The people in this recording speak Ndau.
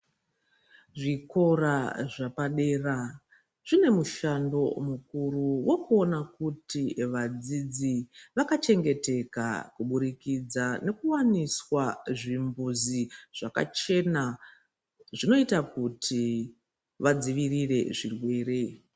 Zvikora zvapadera zvine mushando mukuru wokuona kuti vadzidzi vakachengeteka kubudikidzwa nokuwaniswa zvimbizi zvakachena, zvinoita kuti vadzivirire zvirwere.